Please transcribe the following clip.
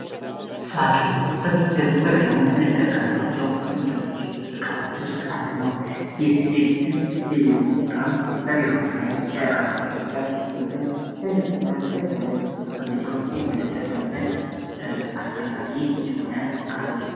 ሳጥን በቤትም በቢሮን እንጠቀምባቸው ከምንጅሎች ዕቃዎች ውስጥ አንድ ኖር ይህ የቤትም የይሮ ቃም በብሮች ላይም ለዕቃ ማስቀመጫ በቤትም ለልብስ እና ከደሪያመስቀምጤዎች የምንተጠምበት አስፈላጊ ይሆነ ቃ ነው፡፡